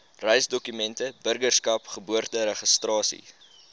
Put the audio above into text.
reisdokumente burgerskap geboorteregistrasie